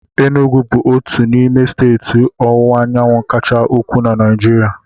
Enugwu bụ otu n'ime steeti ọwụwa anyanwụ kacha ukwuu na Naịjirịa.